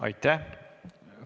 Aitäh!